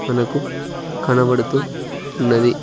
మనకు కనబడుతూ ఉన్నది.